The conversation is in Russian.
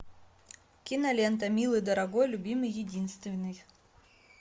кинолента милый дорогой любимый единственный